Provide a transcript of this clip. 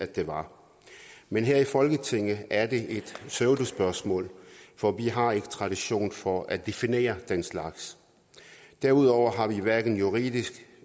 det var men her i folketinget er det et pseudospørgsmål for vi har ikke tradition for at definere den slags derudover har vi hverken juridisk